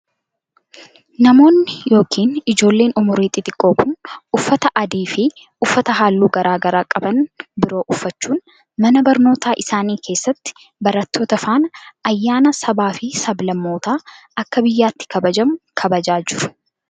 Namoonni yokin ijoolleen umuriin xixiqqoo kun, uffata adii fi uffata haalluu garaa garaa qaban biroo uffachuun, mana barnootaa isaanii keessatti barattoota faana ayyaana sabaa fi sablammootaa akka biyyaatti kabajamu kabajaa jiru.